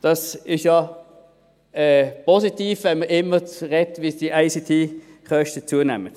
Das ist ja positiv, wenn man immer davon spricht, wie die ICT-Kosten zunehmen.